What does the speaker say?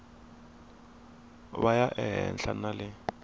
va ya ehenhla na le